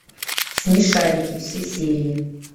смешарики все серии